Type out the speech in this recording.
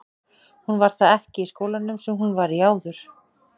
Hún var það ekki í skólanum sem hún var í áður.